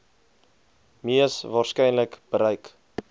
mees waarskynlik bereik